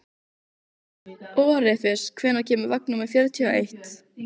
Orfeus, hvenær kemur vagn númer fjörutíu og eitt?